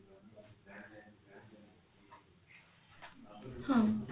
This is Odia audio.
ହଁ